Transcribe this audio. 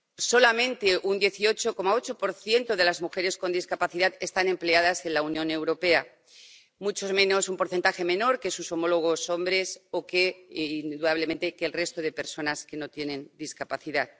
solamente un 18,8 de las mujeres con discapacidad están empleadas en la Unión Europea, un porcentaje menor que sus homólogos hombres o que, indudablemente, el resto de personas que no tienen discapacidad.